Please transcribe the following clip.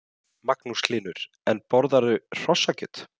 Magnús Hlynur: En borðarðu hrossakjöt?